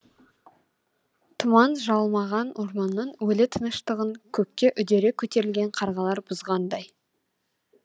тұман жалмаған орманның өлі тыныштығын көкке үдере көтерілген қарғалар бұзғандай